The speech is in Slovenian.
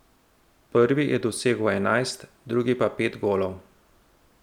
Prvi je dosegel enajst, drugi pa pet golov.